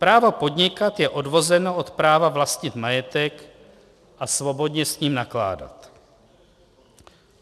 Právo podnikat je odvozeno od práva vlastnit majetek a svobodně s ním nakládat.